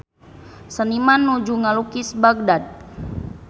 Seniman nuju ngalukis Bagdad